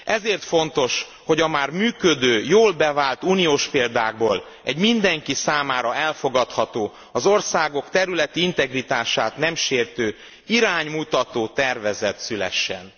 Ezért fontos, hogy a már működő, jól bevált uniós példákból, egy mindenki számára elfogadható, az országok területi integritását nem sértő, iránymutató tervezet szülessen.